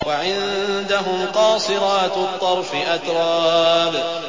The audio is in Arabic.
۞ وَعِندَهُمْ قَاصِرَاتُ الطَّرْفِ أَتْرَابٌ